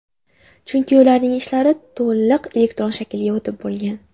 Chunki ularning ishlari to‘liq elektron shaklga o‘tib bo‘lgan.